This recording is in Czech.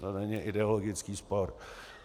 To není ideologický spor.